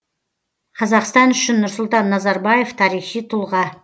қазақстан үшін нұрсұлтан назарбаев тарихи тұлға